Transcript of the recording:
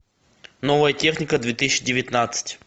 новая техника две тысячи девятнадцать